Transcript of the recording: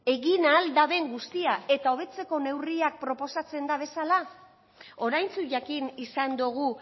egin ahal duten guztia eta hobetzeko neurriak proposatzen dituztela oraintsu jakin izan dugu